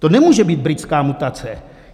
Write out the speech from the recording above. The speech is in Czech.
To nemůže být britská mutace.